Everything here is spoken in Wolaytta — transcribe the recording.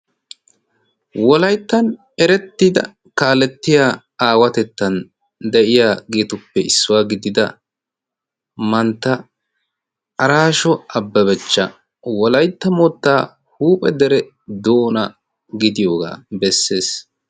Wolayttan erettida kaalettiya aawatettan de'iya geetuppe issuwaa gidida mantta araasho abbabachcha wolaitta muttaa huuphe dere doona gidiyoogaa bessees.